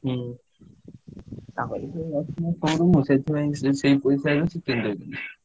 ହୁଁ ସେଥିପାଇଁ ସେଇପାଇସାରଖି କିଣିଦେବି।